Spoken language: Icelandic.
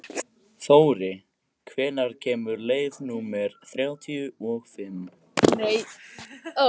Þóri, hvenær kemur leið númer þrjátíu og fimm?